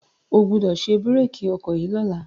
O gbọ́dọ̀ ṣe bírèkì ọkọ̀ yìí lọ́la.